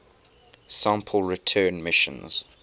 sample return missions